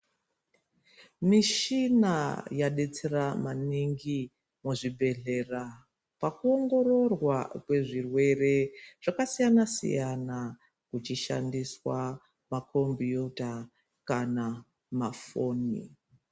Mishina yaidetsera maningi muzvibhehlera pakuongororwa kwezvirwere zvakasiyana -siyana kuchishandiswa makombiyuta kana mafoni.